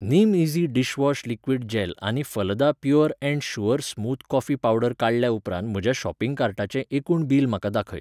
निमईझी dishwash liquid gel आनी Phalada pure and sure smooth coffee powder काडल्या उपरांत म्हज्या शॉपिंग कार्टाचें एकूण बील म्हाका दाखय.